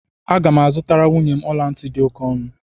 Aga m azụtara nwunye m ọla ntị dị oke ọnụ